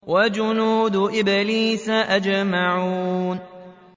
وَجُنُودُ إِبْلِيسَ أَجْمَعُونَ